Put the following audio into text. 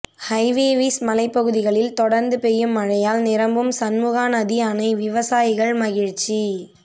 ஹைவேவிஸ் மலைப்பகுதிகளில் தொடர்ந்து பெய்யும் மழையால் நிரம்பும் சண்முகாநதி அணை விவசாயிகள் மகிழ்ச்சி